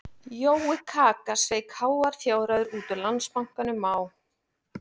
Jói kaka sveik háar fjárhæðir út úr Landsbankanum á